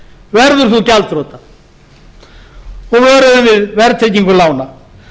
verður þú gjaldþrota og vöruðum við verðtryggingu lána